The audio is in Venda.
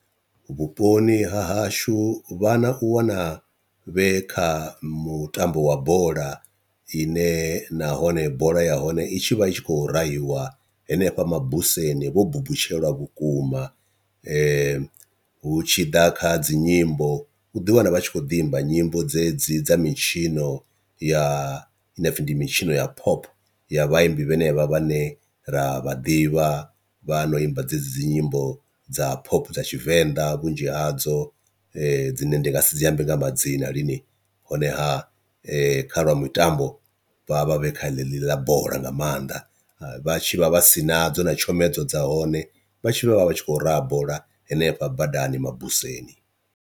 Vhuponi ha hashu vhana u wana vhe kha mutambo wa bola ine nahone bola ya hone i tshi vha i tshi khou rahiwa henefha mabuseni vho buṱutshelwa vhukuma, hu tshi ḓa kha dzinyimbo uḓi wana vha tshi kho ḓi imba nyimbo dzedzi dza mitshino ya inopfi ndi mitshino ya phop ya vhaimbi vhanevha vhane ra vha ḓivha vha no imba dzedzi dzi nyimbo dza phop dza tshivenḓa, vhunzhi hadzo dzine ndi nga si dzi ambe nga madzina lini honeha kha lwa mitambo vha vha vha vhe kha ḽa bola nga maanḓa vhatshi vha vha si na dzo na tshomedzo dza hone vha tshi vha vha vhatshi khou raha bola hanefha badani mabuseni.